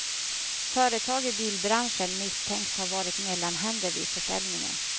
Företag i bilbranschen misstänks ha varit mellanhänder vid försäljningen.